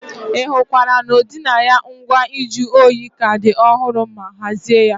Ị hụkwara na ọdịnaya ngwa nju oyi ka dị ọhụrụ ma hazie ya.